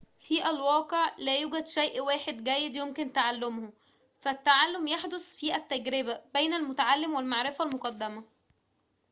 في الواقع لا يوجد شيء واحد جيد يمكن تعلمه فالتعلم يحدث في التجربة بين المُتعلم والمعرفة المُقدَمة